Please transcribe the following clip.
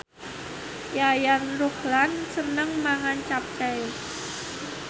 Yayan Ruhlan seneng mangan capcay